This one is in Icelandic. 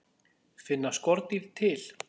Finna skordýr til?